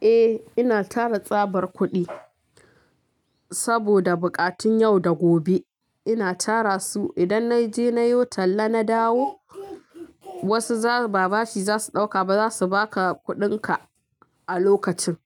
Eh, ina tara tsabar kuɗi saboda buƙatun yau da gobe. Ina tara su idan na je na yi talla na dawo, wasu ba bashi za su ɗauka ba za su ba ka kuɗinka a lokacin.